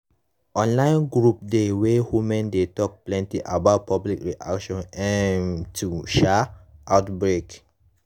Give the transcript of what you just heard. online group dey wey women dey talk plenty about public reaction um to um outbreak